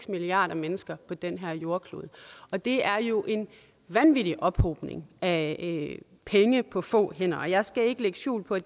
milliarder mennesker på den her jordklode og det er jo en vanvittig ophobning af penge på få hænder jeg skal ikke lægge skjul på at